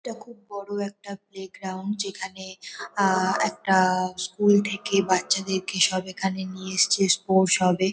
এটা খুব বড় একটা প্লে গ্রাউন্ড যেখানে আ একটা-আ স্কুল থেকে বাচ্চাদের-কে সব এখানে নিয়ে এসেছে স্পোর্টস হবে।